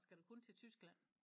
Skal du kun til Tyskland?